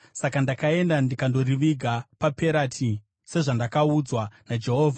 Saka ndakaenda ndikandoriviga paPerati sezvandakaudzwa naJehovha.